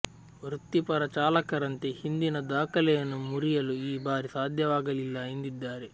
ವೃತ್ತಿಪರ ಚಾಲಕರಂತೆ ಹಿಂದಿನ ದಾಖಲೆಯನ್ನು ಮುರಿಯಲು ಈ ಬಾರಿ ಸಾಧ್ಯವಾಗಲಿಲ್ಲ ಎಂದಿದ್ದಾರೆ